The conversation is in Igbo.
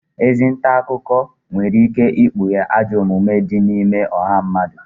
Ezi nta akụkọ nwere ike ikpughe ajọ omume di n’ime ọha mmadụ